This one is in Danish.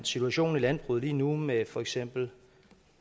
situationen i landbruget lige nu med for eksempel